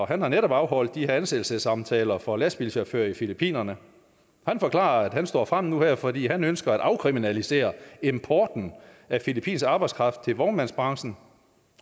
han har netop afholdt de her ansættelsessamtaler for lastbilchauffører i filippinerne og forklarer at han står frem nu her fordi han ønsker at afkriminalisere importen af filippinsk arbejdskraft til vognmandsbranchen